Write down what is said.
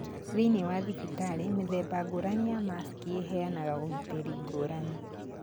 Thĩinĩ wa thibitarĩ, mĩthemba ngũrani ya masiki ĩheanaga ũgitĩri ngũrani.